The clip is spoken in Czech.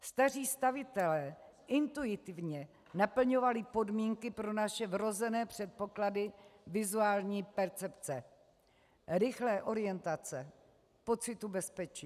Staří stavitelé intuitivně naplňovali podmínky pro naše vrozené předpoklady vizuální percepce, rychlé orientace, pocitu bezpečí.